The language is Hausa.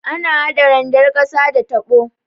Ana hada randar ƙasa da tabo.